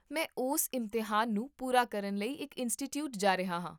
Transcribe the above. ਮੈਂ ਉਸ ਇਮਤਿਹਾਨ ਨੂੰ ਪੂਰਾ ਕਰਨ ਲਈ ਇੱਕ ਇੰਸਟੀਚਿਊਟ ਜਾ ਰਿਹਾ ਹਾਂ